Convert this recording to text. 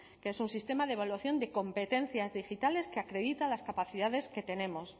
que es un sistema de evaluación de competencias digitales que acreditan las capacidades que tenemos